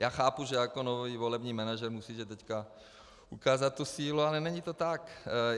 Já chápu, že jako nový volební manažer musíte teď ukázat tu sílu, ale není to tak.